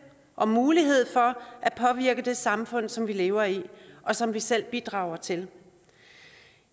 og mulighed for at påvirke det samfund som vi lever i og som vi selv bidrager til